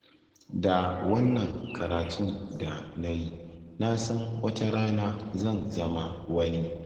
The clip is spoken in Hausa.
Da wannan karatun da na yi, na san wata rana zan zama wani